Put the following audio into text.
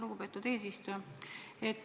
Lugupeetud ettekandja!